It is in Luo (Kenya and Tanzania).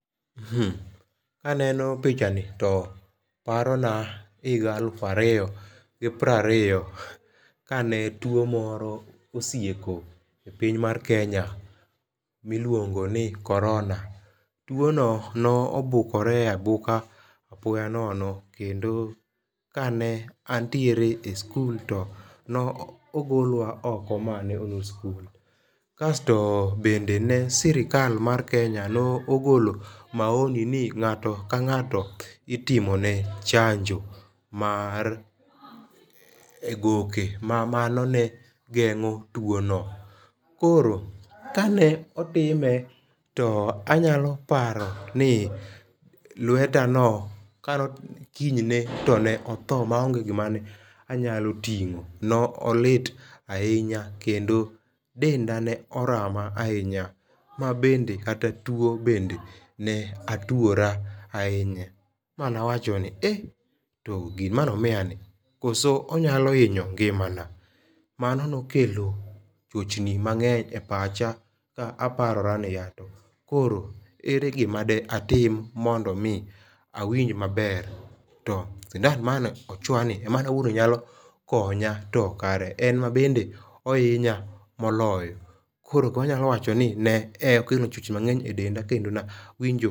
Kaneno pichani to parona higa elufu ariyo gi piero ariyo kane tuo moro osieko e piny mar Kenya miluongo ni Corona. Tuo no nobukore abuka apoya nono kendo kane antiere e skul to no ogolwa oko mane olor skul. Kasto bende ne sirkal mar Kenya nogolo maoni ni ng'ato ka ng'ato itimone chango mar e goke ma mano ne geng'o tuo no. Koro kane otime to anyalo paro ni lweta no kinyne to ne otho ma onge gima ne anyalo ting'o. Nolit ahinya kendo denda ne orama ahinya. Ma bende kata tuo bende ne atuora ahinya. Ma na wacho ni e to gimanomiya ni koso onyalo hinyo ngimana. Mano nokelo chochni mang'eny e pacha ka aparora ni ya to koro ere gima de atim mondo mi awinj maber. To sindan mane ochwoya ni emane awuo ni nyalo konya to kare en mabende ohinya moloyo. Koro wanyalo wacho ni ne okelo chochni mangeny e denda kendo nawinjo